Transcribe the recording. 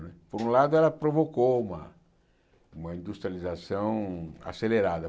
Não é por um lado, ela provocou uma uma industrialização acelerada.